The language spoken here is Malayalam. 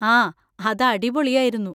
ആ! അത് അടിപൊളിയായിരുന്നു.